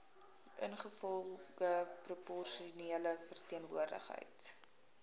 ingevolge proporsionele verteenwoordiging